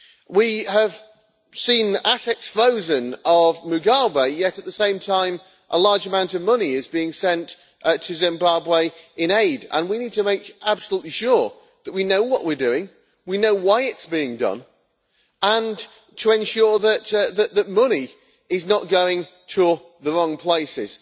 We have seen assets of Mugabe frozen, yet at the same time a large amount of money is being sent to Zimbabwe in aid and we need to make absolutely sure that we know what we are doing, that we know why it is being done, and that we ensure that money is not going to the wrong places.